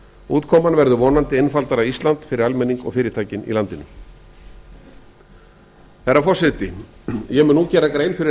útkoman verður vonandi einfaldara ísland fyrir almenning og fyrirtækin í landinu herra forseti ég mun nú gera grein fyrir